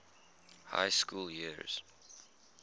high school years